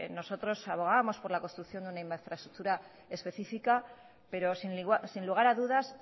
nosotros abogamos por la construcción de una infraestructura específica pero sin lugar a dudas